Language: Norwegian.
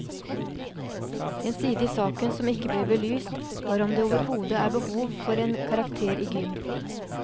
En side i saken som ikke ble belyst var om det overhodet er behov for en karakter i gym.